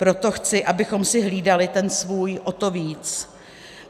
Proto chci, abychom si hlídali ten svůj o to víc.